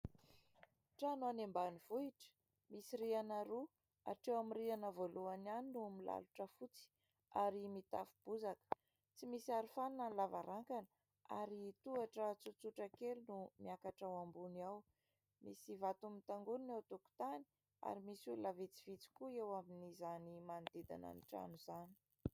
Trano any ambanivohitra misy rihana roa, hatreo amin'ny rihana voalohany ihany no milalotra fotsy ary mitafo bozaka, tsy misy arofanina ny lavarangana ary tohatra tsotsotra kely no miakatra ao ambony ao. Misy vato mitangorina ao an-tokotany ary misy olona vitsivitsy koa eo amin'izany manodidina ny trano izany.